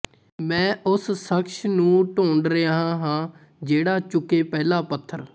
ਮੈਂ ਉਸ ਸ਼ਖ਼ਸ ਨੂੰ ਢੂੰਡ ਰਿਹਾ ਹਾਂ ਜਿਹੜਾ ਚੁੱਕੇ ਪਹਿਲਾ ਪੱਥਰ